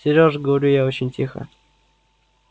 сереж говорю я очень тихо